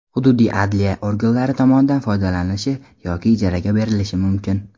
hududiy adliya organlari tomonidan foydalanilishi yoki ijaraga berilishi mumkin.